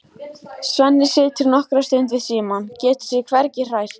Svenni situr nokkra stund við símann, getur sig hvergi hrært.